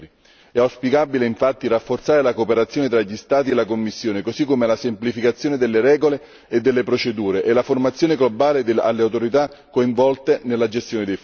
È auspicabile infatti rafforzare la cooperazione tra gli Stati e la Commissione così come la semplificazione delle regole e delle procedure e la formazione globale alle autorità coinvolte nella gestione dei fondi.